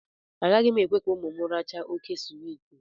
Agaghị m ekwe ka ụmụ m rachaa óké swiiti